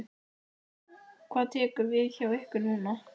Hvað tekur við hjá ykkur núna?